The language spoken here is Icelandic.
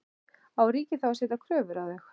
Á ríkið þá að setja kröfur á þau?